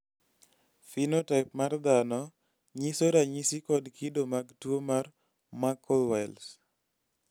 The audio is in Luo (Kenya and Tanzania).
phenotype mar dhano nyiso ranyisi kod kido mag tuwo mar muckle wells